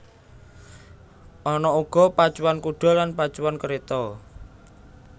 Ana uga pacuan kuda lan pacuan kereta